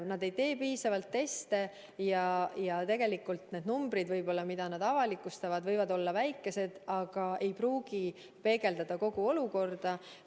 Nad ei tee piisavalt teste ja numbrid, mida nad avalikustavad, võivad olla väikesed, aga ei pruugi peegeldada kogu olukorda.